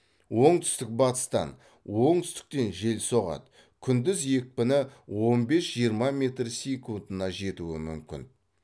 оңтүстік батыстан оңтүстіктен жел соғады күндіз екпіні он бес жиырма метр секундына жетуі мүмкін